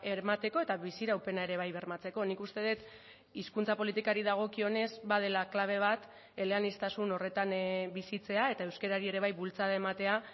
emateko eta biziraupena ere bai bermatzeko nik uste dut hizkuntza politikari dagokionez badela klabe bat eleaniztasun horretan bizitzea eta euskarari ere bai bultzada ematea